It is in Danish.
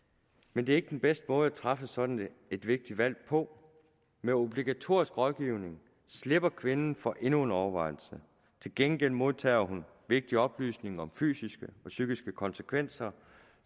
men det er ikke den bedste måde at træffe sådan et vigtigt valg på med obligatorisk rådgivning slipper kvinden for endnu en overvejelse til gengæld modtager hun vigtige oplysninger om fysiske og psykiske konsekvenser